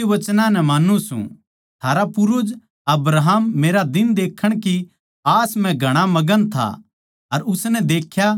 थारा पूर्वज अब्राहम मेरा दिन देक्खण की आस म्ह घणा मगन था अर उसनै देख्या अर आनन्द करया